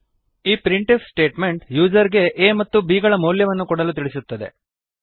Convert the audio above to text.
ಈ print f statement user ಗೆ a ಮತ್ತು b ಗಳ ಮೌಲ್ಯವನ್ನು ಕೊಡಲು ತಿಳಿಸುತ್ತದೆ